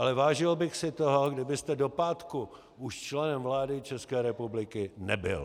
Ale vážil bych si toho, kdybyste do pátku už členem vlády České republiky nebyl.